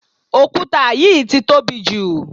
òkúta yìí ti tóbi jù